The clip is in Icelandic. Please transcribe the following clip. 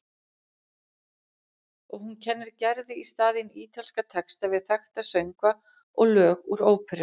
Og hún kennir Gerði í staðinn ítalska texta við þekkta söngva og lög úr óperum.